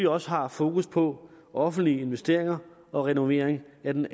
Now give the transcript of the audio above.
også har fokus på offentlige investeringer og renovering af den